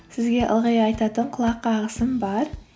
сізге ылғи айтатын құлақ қағысым бар